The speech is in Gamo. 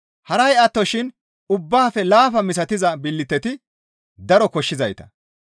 Haray attoshin ubbaafe laafa misatiza billiteti daro koshshizayta.